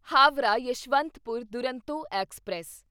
Howrah Yeshwantpur Duronto express